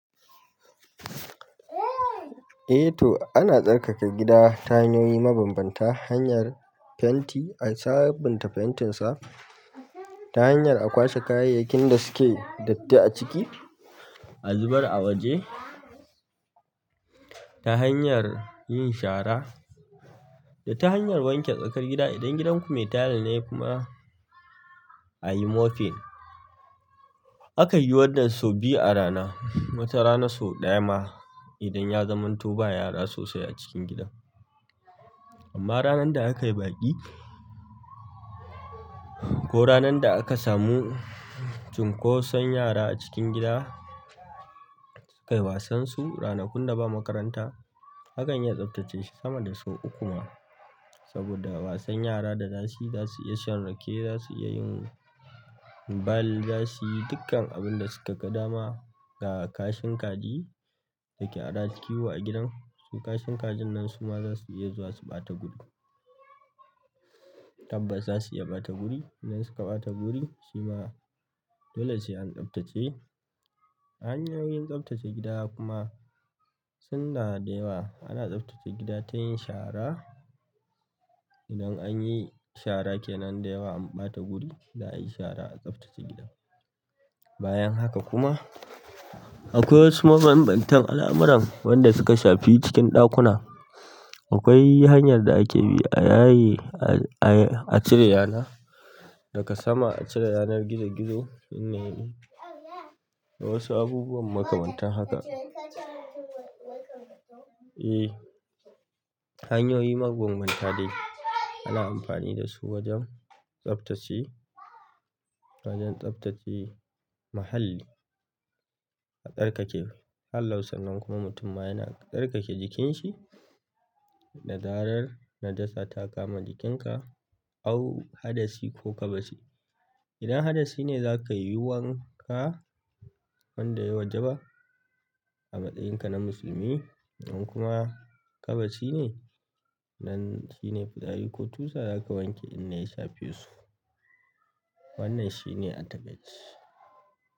Eh to ana tsarkake gida ta hanyoyi mabambanta hanyar fenti a sabunta fentinsa ta hanyar a kwashe kayayyakin da suke datti a ciki, a zubar a waje ta hanyar yin shara da ta hanyar wanke tsakar gida idan gidanku mai tayil ne kuma a yi moping. Akan yi wannan sau biyu arana wata rana sau ɗaya ma idan ya zamanto ba yara sosai acikin gidan amma ranar da aka yi baƙi ko ranar da aka samu cunkoson yara a cikin gida sukayi wasan su ranakun da ba makaranta akan iya tsaftace shi sama da sau uku ma. Saboda wasan yara da dazasuyi zasu iya shan rake zasu iya yin ball zasuyi dukkan abin da suka ga dama ga kashin kaji dake haɗa kiwo a gidan su kashin kajin nan suma zasuyi zuwa su ɓata guri. Tabbas zasuyi ɓata guri idan suka ɓata guri shima dole sai an tsaftace. Hanyoyin tsaftace gida kuma sunada da yawa ana tsaftace gida ta yin shara idan anyi shara kenan da yawa an ɓata guri za'a yi shara a tsaftace gidan. Bayan haka kuma akwai wasu mabambantan al'amuran wanda suka shafi cikin ɗakuna akwai hanyar da ake bi a yaye a cire yana daga sama a cire yanar gizo gizo in yayi da wasu abubuwan makamantan haka. E, hanyoyi mabambanta dai ana amfani dasu wajen tsaftace wajen tsaftace muhalli a tsarkake. Hallau sannan kuma mutum ma yana tsarkake jikinshi. Da zarar najasa ta kama jikinka au hadasi ko ƙabasi. Idan hadasi ne zakayi wanka wanda yayi wajaba a matsayin ka na musulmi idan kuma ƙabaci ne nan shine fitari ko tusa zaka wanke in da. Ya shafe su. Wannan shine atabeji.